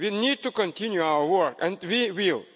there. We need to continue our work, and